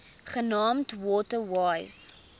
genaamd water wise